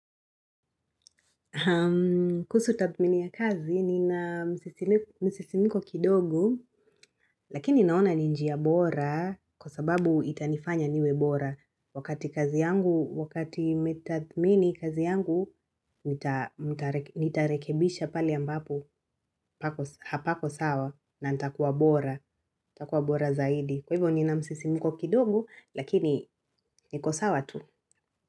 Kuhusu tathmini ya kazi, nina msisimiko kidogo lakini naona ni njia bora kwa sababu itanifanya niwe bora. Wakati kazi yangu, wakati nimetathmini kazi yangu, nitarekebisha pale ambapo hapako sawa na nitakuwa bora. Nitakuwa bora zaidi. Kwa hivyo nina msisimiko kidogo, lakini niko sawa tu.